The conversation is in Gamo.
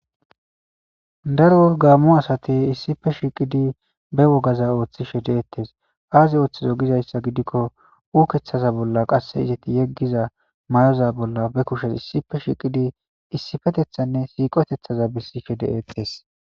Dro gamo asat issippe shiqid ba wogaza othishe detes azi oothizo gizaysa gidikon ukethaza bolla Qase izet yegiza mayoza bolla be kushe issippe shiqid issipetethane siqitethaza besishe de'etes.